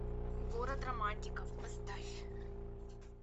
город романтиков поставь